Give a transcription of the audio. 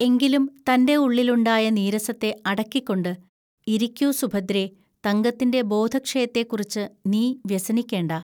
എങ്കിലും തന്റെ ഉള്ളിലുണ്ടായ നീരസത്തെ അടക്കിക്കൊണ്ട്, 'ഇരിക്കൂ സുഭദ്രേ, തങ്കത്തിന്റെ ബോധക്ഷയത്തെക്കുറിച്ചു നീ വ്യനിക്കേണ്ട